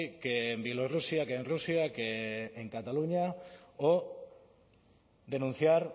que en bielorrusia que en rusia que en cataluña o denunciar